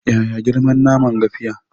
Yaya girman naman gafiya?